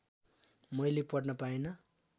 मैले पढ्न पाइन